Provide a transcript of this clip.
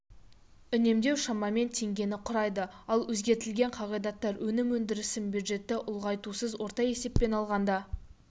үнемдеу шамамен теңгені құрайды ал өзгертілген қағидаттар өнім өндірісін бюджетті ұлғайтусыз орта есеппен алғанда